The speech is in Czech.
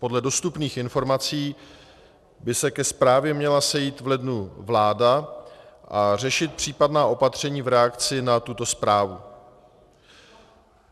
Podle dostupných informací by se ke zprávě měla sejít v lednu vláda a řešit případná opatření v reakci na tuto zprávu.